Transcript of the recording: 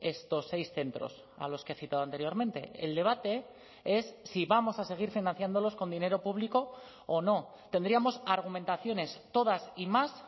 estos seis centros a los que he citado anteriormente el debate es si vamos a seguir financiándolos con dinero público o no tendríamos argumentaciones todas y más